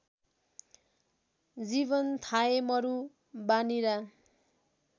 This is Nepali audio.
जीवन थायमरु वानीरा